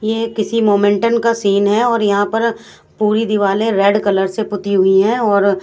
ये किसी मोमेंटम का सीन है और यहां पर पूरी दिवाले रेड कलर से पूती हुई हैं और--